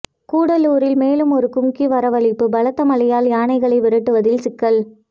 கூடலூரில் மேலும் ஒரு கும்கி வரவழைப்பு பலத்த மழையால் யானைகளை விரட்டுவதில் சிக்கல்